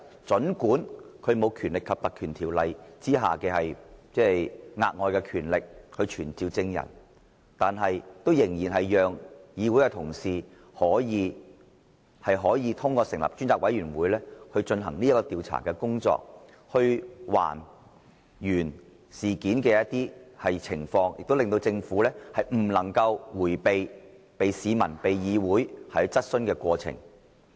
儘管這調查機制不能根據《立法會條例》享有額外權力去傳召證人，但它仍然讓議員透過成立專責委員會，進行調查，還原事件的情況，亦令政府不能夠迴避，接受市民和議會的質詢。